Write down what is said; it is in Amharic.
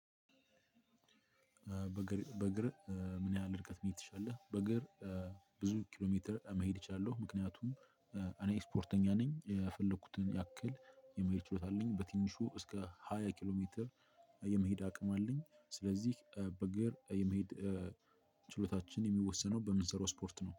በእግርህ ምን ያህል ርቀት መሄድ ትችላለህ? በእግር ብዙ ኪሎ ሜትር መሄድ እችላለሁ ምክንያቱም እኔ ስፖርተኛ ነኝ። የፈለኩትን ያክል የመሄድ ችሎታ አለኝ። በትንሹ እስከ ሃያ ኪሎ ሜትር የመሄድ አቅም አለኝ ስለዚህ በእግር የመሄድ ችሎታችን የሚወሰነው በምንሰራው ስፖርት ነው።